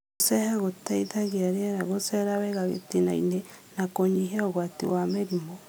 Gũceha gũteithagia rĩera gũcera wega gĩtinainĩ na kũnyihia ũgwati wa mĩrimũ